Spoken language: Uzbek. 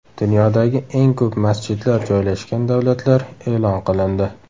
Dunyodagi eng ko‘p masjidlar joylashgan davlatlar e’lon qilindi.